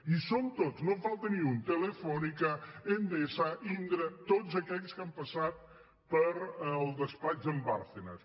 hi són tots no en falta ni un telefónica endesa indra tots aquells que han passat pel despatx d’en bárcenas